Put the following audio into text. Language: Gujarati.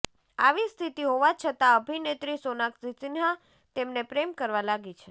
આવી સ્થિતિ હોવા છતાં અભિનેત્રી સોનાક્ષી સિંહા તેમને પ્રેમ કરવા લાગી છે